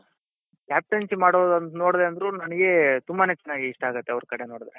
captaincy ಮಾಡೋದು ನೋಡ್ದೆ ಅಂದ್ರು ನನಿಗೆ ತುಂಬಾನೇ ಚೆನ್ನಾಗಿ ಇಷ್ಟ ಆಗುತ್ತೆ ಅವ್ರ್ ಕಡೆ ನೋಡುದ್ರೆ